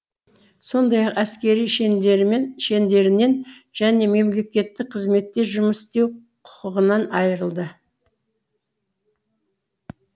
сондай ақ әскери шендерінен және мемлекеттік қызметте жұмыс істеу құқығынан айырылды